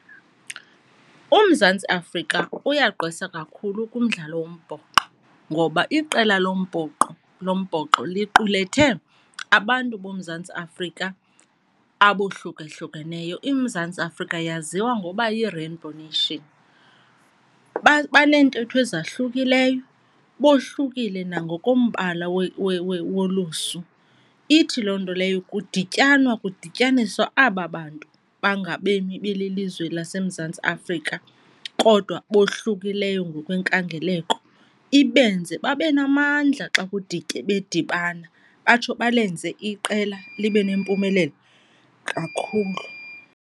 UMzantsi Afrika uyagqwesa kakhulu kumdlalo wombhoxo ngoba iqela lombhoxo liqulethe abantu boMzantsi Afrika abohlukahlukeneyo. IMzantsi Afrika yaziwa ngoba yiRainbow Nation, baneentetho ezahlukileyo, bohlukile nangoku yombala wolusu. Ithi loo nto leyo kudityanwa kudityaniswa aba bantu bangabemi belilizwe laseMzantsi Afrika kodwa bohlukileyo ngokwenkangeleko, ibenze babe namandla xa bedibana batsho balenze iqela libe nempumelelo kakhulu.